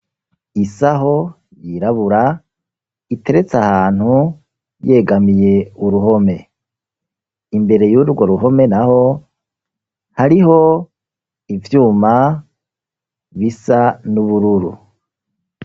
Isaho yirabura iteretse ahantu yegamiye uruhome imbere y'urwo ruhome na ho hariho ivyuma bisa n'ubururu.